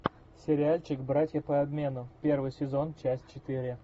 сериальчик братья по обмену первый сезон часть четыре